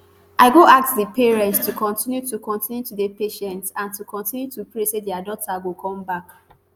i go ask di parents to continue to continue to dey patient and to continue to pray say dia daughters go come back